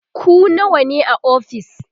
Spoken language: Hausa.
ku nawa ne a ofis?